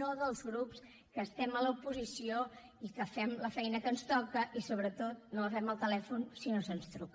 no dels grups que estem a l’oposició i que fem la feina que ens toca i sobretot no agafem el telèfon si no se’ns truca